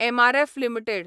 MRF limited